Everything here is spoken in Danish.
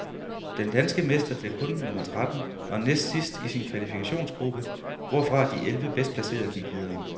Den danske mester blev kun nummer tretten og næstsidst i sin kvalifikationsgruppe, hvorfra de elleve bedst placerede gik videre.